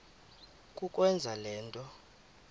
kukwenza le nto